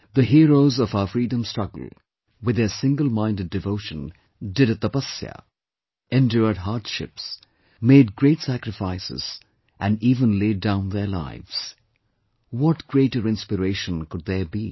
The heroes of our freedom struggle with their singleminded devotion did a 'Tapasya', endured hardships, made great sacrifices and even laid down their lives; what greater inspiration could there be